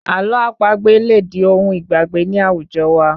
Àlọ́ àpagbè lè di ohun ìgbàgbé ní àwùjọ wa